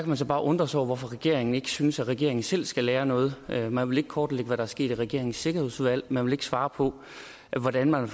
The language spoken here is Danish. man så bare undre sig over hvorfor regeringen ikke synes at regeringen selv skal lære noget noget man vil ikke kortlægge hvad der er sket i regeringens sikkerhedsudvalg og man vil ikke svare på hvordan man